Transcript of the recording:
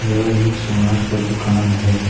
यह एक सोनार का दुकान है।